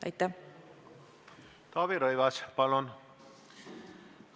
Taavi Rõivas, palun!